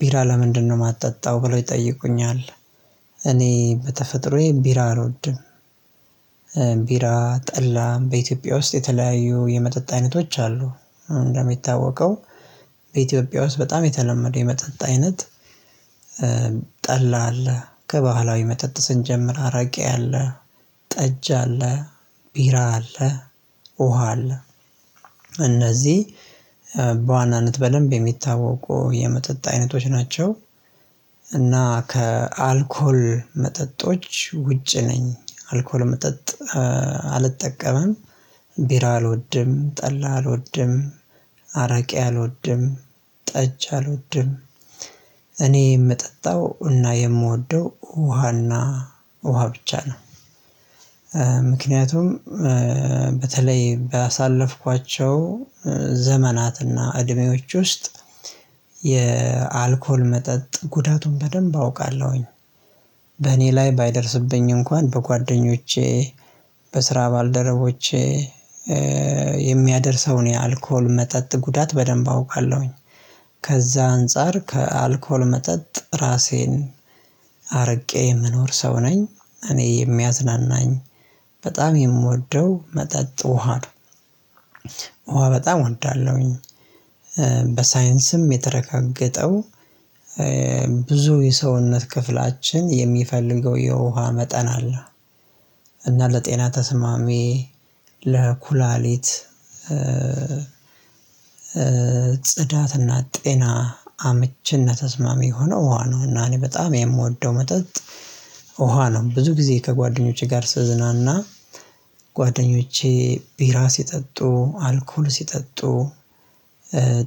ቢራ ለምንድነው የማጠጣው ብለው ይጠይቁኛል? እኔ በተፈጥሮዬ ቢራ አልወድም። ቢራ ጠላም በኢትዮጵያ ውስጥ የተለያዩ የመጠጥ አይነቶች አሉ። እንደሚታወቀው በኢትዮጵያ ውስጥ በጣም የተለመደው የመጠጥ አይነት። ጠላ አለ ከባህላዊ መጠጥ ስንጀምር አራቂ አለ ጠጅ አለ ቢራ አለ ውሃ አለ እነዚህ በዋናነት በደንብ የሚታወቁ የመጠጥ አይነቶች ናቸው። እና ከአልኮል መጠጦች ውጪ ነኝ አልኮል መጠጥ አልጠቀምም። ቢራ አልወድም ጠላ አልወድም አረቂ አልወድም ጠጅ አልወድም። እኔ የምጠጣው እና የምወደው ውሃና ውሃ ብቻ ነው። ምክንያቱም በተለይ ባሳለፍኳቸው ዘመናትና እድሜዎች ውስጥ የአልኮል መጠጥ ጉዳቱን በደንብ አውቃለሁኝ። በእኔ ላይ ባይደርስብኝ እንኳን በጓደኞቼ በስራ ባልደረቦቼ የሚያደርሰውን የአልኮል መጠጥ ጉዳት በደንብ አውቃለሁኝ። ከዛ አንፃር ከአልኮል መጠጥ ራሴን አርቄ የምኖር ሰው ነኝ። እኔ የሚያዝናናኝ በጣም የምወደው መጠጥ ውሃ ነው። ውሃ በጣም እወዳለሁኝ። በሳይንስም የተረጋገጠው ብዙ የሰውነት ክፍላችን የሚፈልገው የውሃ መጠን አለ። እና ለጤና ተስማሚ ለኩላሊት ጽዳትና ጤና አምችና ተስማሚ የሆነው ውሃ ነው እና እኔ በጣም የምወደው መጠጥ። ውሃ ነው። ብዙ ጊዜ ከጓደኞቼ ጋር ስዝናና ጓደኞቼ ቢራ ሲጠጡ አልኮል ሲጠጡ።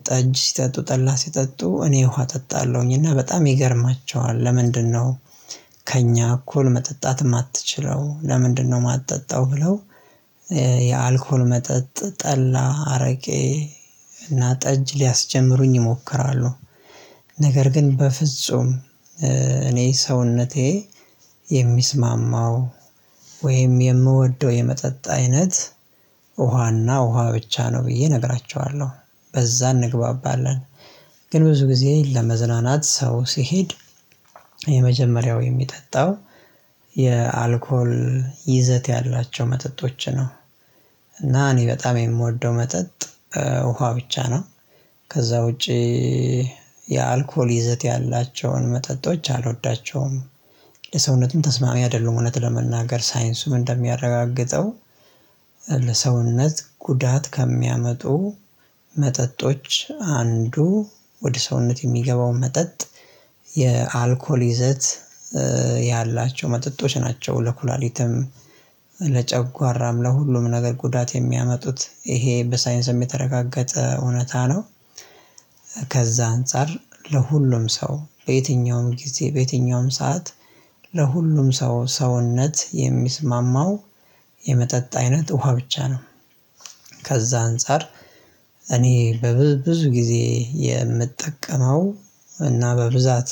ጠጅ ሲጠጡ ጠላ ሲጠጡ እኔ ውሃ እጠጣለሁኝ እና በጣም ይገርማቸዋል ለምንድነው? ከእኛ እኩል መጠጣት የማትችለው ለምንድነው? የማትጠጣው ብለው የአልኮል መጠጥ ጠላ አረቄ እና ጠጅ ሊያስጀምሩኝ ይሞክራሉ። ነገር ግን በፍጹም እኔ ሰውነቴ የሚስማማው ወይም የምወደው የመጠጥ አይነት ውሃና ውሃ ብቻ ነው ብዬ እነግራቸዋለሁ። በዛ እንግባባለን። ግን ብዙ ጊዜ ለመዝናናት ሰው ሲሄድ የመጀመሪያው የሚጠጣው የአልኮል ይዘት ያላቸው መጠጦች ነው። እና እኔ በጣም የምወደው መጠጥ ውሃ ብቻ ነው። ከዛ ውጪ የአልኮል ይዘት ያላቸውን መጠጦች አልወዳቸውም። ለሰውነትም ተስማሚ አይደሉም እውነት ለመናገር ሳይንሱም እንደሚያረጋግጠው ለሰውነት ጉዳት ከሚያመጡ መጠጦች አንዱ ወደ ሰውነት የሚገባው መጠጥ የአልኮል ይዘት ያላቸው መጠጦች ናቸው። ለኩላሊትም ለጨጓራም ለሁሉም ነገር ጉዳት የሚያመጡት ይሄ በሳይንስም የተረጋገጠ እውነታ ነው። ከዛ አንፃር ለሁሉም ሰው በየትኛውም ጊዜ በየትኛውም ሰዓት ለሁሉም ሰው ሰውነት የሚስማማው የመጠጥ አይነት ውሃ ብቻ ነው። ከዛ አንፃር እኔ በብዙ ብዙ ጊዜ የምጠቀመው እና በብዛት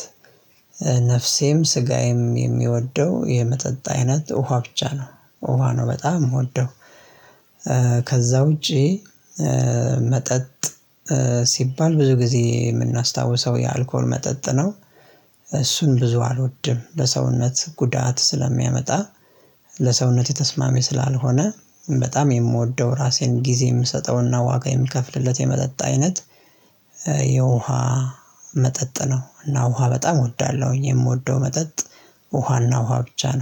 ነፍሴም ስጋዬም የሚወደው የመጠጥ አይነት ውሃ ብቻ ነው። ውሃ ነው በጣም የምወደው። ከዛ ውጪ መጠጥ ሲባል ብዙ ጊዜ የምናስታውሰው የአልኮል መጠጥ ነው። እሱን ብዙ አልወድም ለሰውነት ጉዳት ስለሚያመጣ ለሰውነቴ ተስማሚ ስላልሆነ በጣም የምወደው ራሴን ጊዜ የምሰጠውና ዋጋ የምከፍልለት የመጠጥ አይነት የውሃ መጠጥ ነው። እና ውሃ በጣም እወዳለሁኝ የምወደው መጠጥ ውሃና ውሃ ብቻ ነው